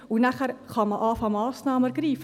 Danach kann man beginnen, Massnahmen zu ergreifen.